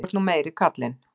Þú ert nú meiri kallinn.